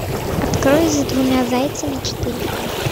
открой за двумя зайцами четыре ка